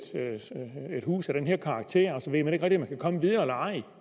hus af den her karakter og så ved man ikke man kan komme videre eller ej